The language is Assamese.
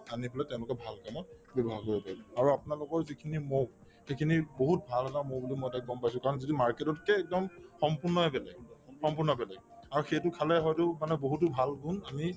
আনি পেলাই তেওঁলোকে ভাল কামত ব্যৱহাৰ কৰিব পাৰিব আৰু আপোনালোকৰ যিখিনি মৌ সেইখিনি বহুত ভাল এটা মৌ বুলি মই গম পাইছো কাৰণ যিটো market ততকে একদম সম্পূৰ্ণয়ে বেলেগ সম্পূৰ্ণ বেলেগ আৰু সেইটো খালে হয়তো মানুহৰ বহুতো ভাল গুণ আমি